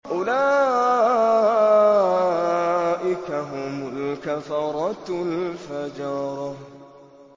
أُولَٰئِكَ هُمُ الْكَفَرَةُ الْفَجَرَةُ